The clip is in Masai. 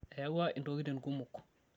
eyawua intokitin kumok